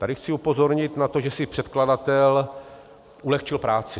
Tady chci upozornit na to, že si předkladatel ulehčil práci.